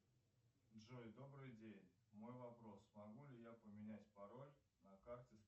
джой добрый день мой вопрос могу ли я поменять пароль на карте